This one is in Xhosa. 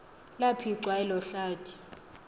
laphicwa elo hlathi